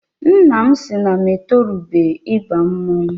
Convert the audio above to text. Nna m sị na m etorubeghị ịba mmọnwụ.